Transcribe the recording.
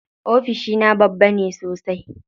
Ofishina babba ne sosai.